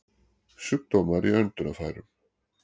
Sjúkdómar í öndunarfærum